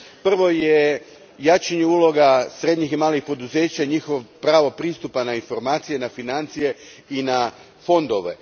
Prvo je jačanje uloga srednjih i malih poduzeća i njihovog prava pristupa na informacije, na financije i na fondove.